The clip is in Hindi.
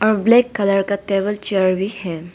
और ब्लैक कलर का टेबल चेयर भी है।